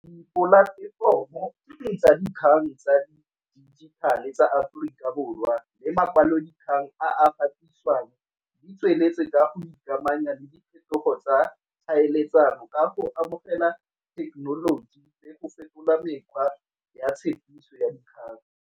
Dipolatefomo tsa dikgang tsa dijithale tsa Aforika Borwa le makwalodikgang gatisiwang di tsweletse ka o ikamanya le diphetogo tsa tlhaeletsano ka go amogela thekenoloji le go fetola mekgwa ya tshepiso ya dikgang.